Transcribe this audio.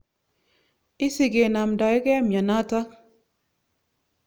Isie ke namndoikei mianotok.